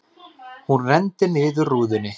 Hún renndi niður rúðunni.